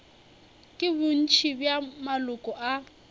ke bontši bja maloko a